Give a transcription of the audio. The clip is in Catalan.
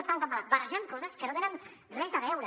estan barrejant coses que no tenen res a veure